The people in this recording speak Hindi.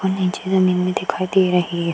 और नीचे जमीन भी दिखाई दे अहि है।